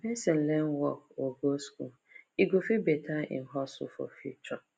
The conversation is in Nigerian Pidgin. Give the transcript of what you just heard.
if person learn work or go school e go fit better im hustle for future